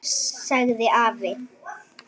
Þú vætir púðrið.